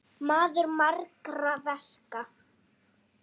Maður margra verka.